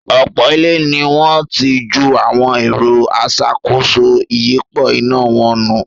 Ọ̀pọ̀ ilé ní wọ́n ti ju awọn “ẹ̀rọ aṣàkóso ìyípo iná” wọn nù.